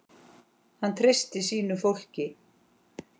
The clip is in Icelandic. Hann treysti sínu fólki.